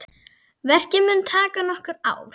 Verkið mun taka nokkur ár.